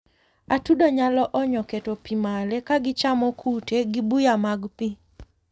atudo nyalo onyo keto pii male kagichamo kute gi buya mag pii